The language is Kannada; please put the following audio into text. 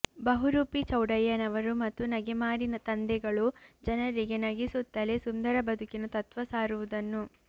ಬಹುರೂಪಿ ಚೌಡಯ್ಯನವರು ಮತ್ತು ನಗೆಮಾರಿ ತಂದೆಗಳು ಜನರಿಗೆ ನಗಿಸುತ್ತಲೆ ಸುಂದರ ಬದುಕಿನ ತತ್ವ ಸಾರುವುದನ್ನು